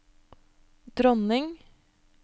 dronning